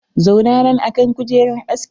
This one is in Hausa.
Zauna nan akan kujerar askin!